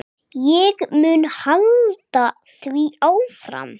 Ég mun halda því áfram.